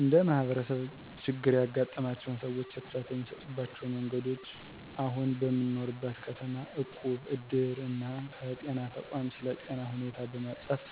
እንደ ማህበረሰብ ችግር ያጋጠማቸውን ሰዎች እርዳታ የሚሰጡባቸው መንገዶች አሁን በምኖርበት ከተማ እቁብ፣ እድር እና ከጤና ተቋም ስለ ጤና ሁኔታ በማፃፍ